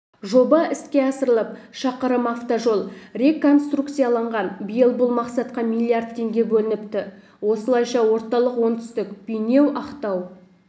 жоба іске асырылып шақырым автожол реконструкцияланған биыл бұл мақсатқа миллиард теңге бөлініпті осылайша орталық-оңтүстік бейнеу-ақтау